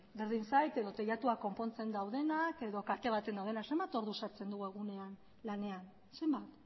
berdin zait edo teilatuak konpontzen daudenak edo kate baten daudenak zenbat ordu sartzen dugu egunean lanean zenbat